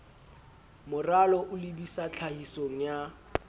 moralo o lebisa tlhahisong ya